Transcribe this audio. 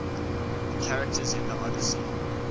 characters in the odyssey